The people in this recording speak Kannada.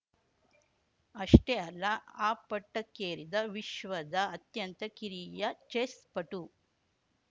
ಅಷ್ಟೇ ಅಲ್ಲ ಆ ಪಟ್ಟಕ್ಕೇರಿದ ವಿಶ್ವದ ಅತ್ಯಂತ ಕಿರಿಯ ಚೆಸ್‌ ಪಟು